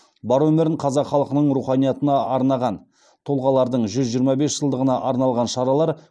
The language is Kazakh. бар өмірін қазақ халқының руханиятына арнаған тұлғалардың жүз жиырма бес жылдығына арналған шаралар